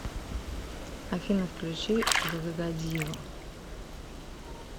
афина включи г г годзилу